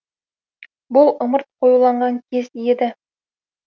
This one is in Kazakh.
бұл ымырт қоюланған кез еді